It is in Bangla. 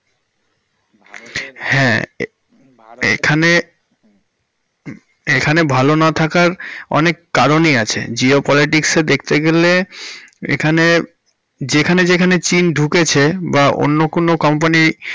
হ্যাঁ এখানে~, এখানে ভালো না থাকার অনেক কারণই আছে geopolitics এ দেখতে গেলে এখানে যেখানে যেখানে চীন ঢুকেছে বা অন্য কোনও কোন company র।